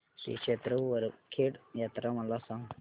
श्री क्षेत्र वरखेड यात्रा मला सांग